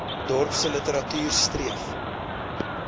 dorpse literatuur streef